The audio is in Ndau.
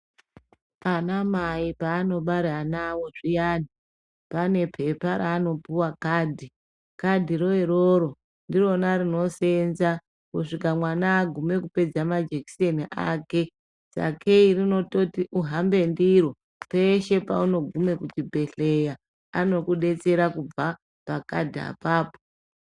Ana mai paanobare anaawo zviyani, pane pepa raanopuwa kadhi, kadhiro iroro ndirona rinoseenza kusvika mwana agume kupedza majekiseni ake, sakeyi rinototi uhambe ndiro peshe paunogume kuzvibhedhleya, anokudetsera kubva pakadhi apapo.